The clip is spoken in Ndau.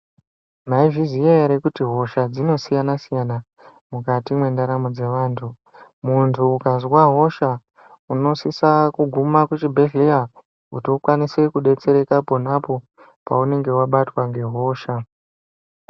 Mwaizviziya ere kuti hosha dzinosiyana siyana mukati mwendaramo dzevantu muntu ukazwa hosha unosisa kuguma kuchibhedhleya kuti ukwanise kudetsereka pona po paunenge wabatwa nehosha .